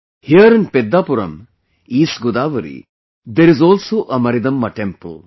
Here, in Peddhapuram, East Godavari, there is also a Maridamma temple